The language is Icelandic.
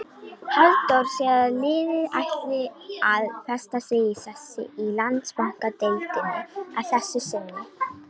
Halldór segir að liðið ætli að festa sig í sessi í Landsbankadeildinni að þessu sinni.